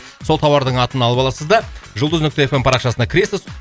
сол тауардың атын алып аласыз да жұлдыз нүкте эф эм парақшасына кіресіз